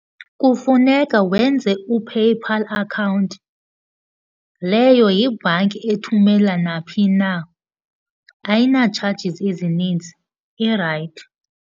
Kufuneka wenze uPayPal account. Leyo yibhanki ethumela naphi na, ayina charges ezininzi, irayithi.